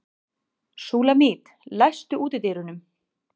Súlamít, læstu útidyrunum.